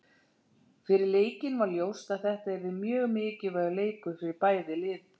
Fyrir leikinn var ljóst að þetta yrði mjög mikilvægur leikur fyrir bæði lið.